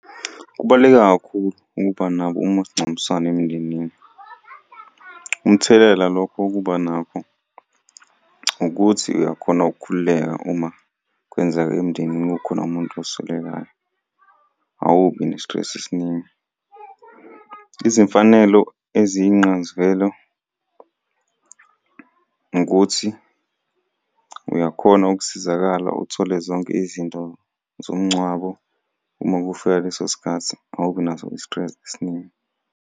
Kubaluleke kakhulu ukuba nabo umasingcwabisane emndenini. Umthelela lokho wokuba nakho, ukuthi uyakhona ukukhululeka uma kwenzeka emndenini kukhona umuntu oswelekayo, awubi ne-stress esiningi. Izimfanelo eziyingxayizivele ukuthi uyakhona ukusizakala uthole zonke izinto zomngcwabo uma kufika leso sikhathi awubi naso i-stress esiningi.